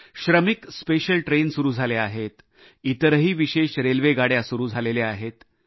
श्रमिक विशेष गाड्या सुरू आहेत तसंच इतर विशेष गाड्या देखील सुरू आहेत